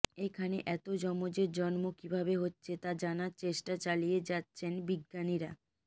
এখানে এত যমজের জন্ম কীভাবে হচ্ছে তা জানার চেষ্টা চালিয়ে যাচ্ছেন বিজ্ঞানীরা